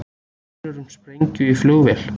Grunur um sprengju í flugvél